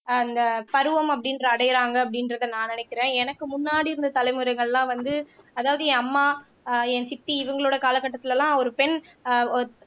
அந்த பருவம் அப்படின்ற அடையுறாங்க அப்படின்றத நான் நினைக்கிறேன் எனக்கு முன்னாடி இருந்த தலைமுறைகள்லாம் வந்து அதாவது என் அம்மா ஆஹ் என் சித்தி இவங்களோட கால கட்டத்துல எல்லாம் ஒரு பெண் ஆஹ்